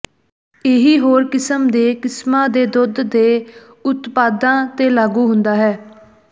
ਇਹੀ ਹੋਰ ਕਿਸਮ ਦੇ ਕਿਸਮਾਂ ਦੇ ਦੁੱਧ ਦੇ ਉਤਪਾਦਾਂ ਤੇ ਲਾਗੂ ਹੁੰਦਾ ਹੈ